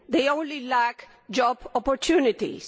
They only lack job opportunities.